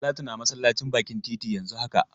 Talatu na masallacin bakin titi yanzun haka.